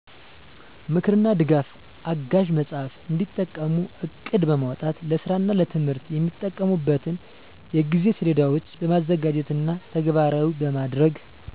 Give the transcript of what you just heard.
ምክርና ድጋፍ አጋዥ መጽሃፍ እንዲጠቀሙ ዕቅድ በማውጣት ለስራና ለትምህርት የሚጠቀሙበትን የጊዜ ሰሌዳዎችን በማዘጋጀትና ተግባራዊ በማድረግ